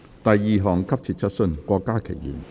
第二項急切質詢。